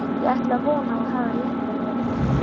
Ég ætla að vona, að þú hafir rétt fyrir þér